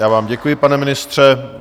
Já vám děkuji, pane ministře.